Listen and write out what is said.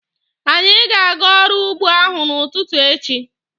Anyị ga-aga ọrụ úgbō ahụ n'ụtụtụ echi.